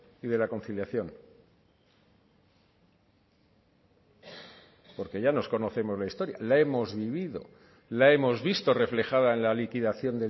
y de la conciliación porque ya nos conocemos la historia la hemos vivido la hemos visto reflejada en la liquidación